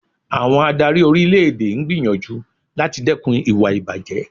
Àwọn adárí orílẹ̀ èdè ń gbìyànjú láti dẹkùn ìwà ìbàjé.